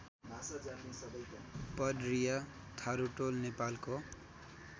पडरिया थारुटोल नेपालको